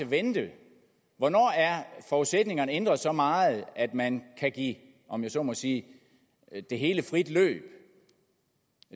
vente hvornår er forudsætningerne ændret så meget at man kan give om jeg så må sige det hele frit løb